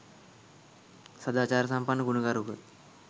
සදාචාරසම්පන්න, ගුණගරුක